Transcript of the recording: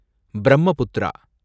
Brahmaputra